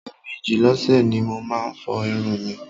Ẹ̀mejì lọ́sẹ̀ ni mo máa ń fọ irun mi.